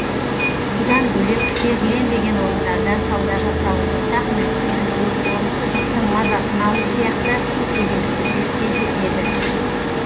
бұдан бөлек белгіленбеген орындарда сауда жасау ортақ мүлікті бүлдіру орынсыз жұрттың мазасын алу сияқты келеңсіздіктер кездеседі